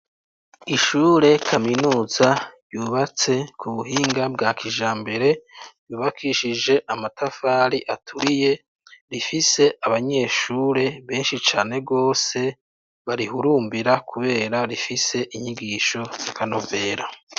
Ishure kaminuza ryubatse kubuhinga bwa kijambere yubakishije amatafari aturiye, rifise abanyeshuri benshi cane gose barihurumbira kubera rifise inyigisho zakanovera.